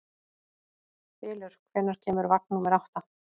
Bylur, hvenær kemur vagn númer átta?